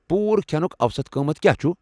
پوٗرٕ کھٮ۪نُک اوسط قۭمتھ کیٛاہ چھُ ؟